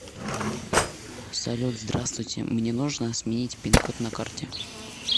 салют здравствуйте мне нужно сменить пин код на карте